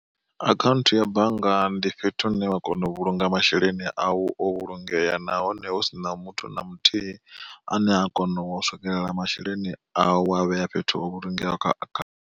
Akhaunthu ya bannga ndi fhethu hune wa kona u vhulunga masheleni awu o vhulungeya, nahone husina muthu na muthihi ane a kona u swikelela masheleni au wo a vhea fhethu ho vhulungeaho kha akha.